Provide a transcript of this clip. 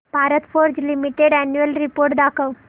Bharat Forge Limited annual report दाखव